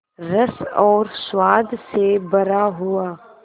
रस और स्वाद से भरा हुआ